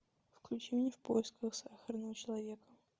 включи мне в поисках сахарного человека